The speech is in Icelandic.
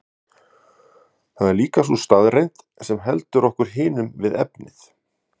Það er líka sú staðreynd sem heldur okkur hinum við efnið.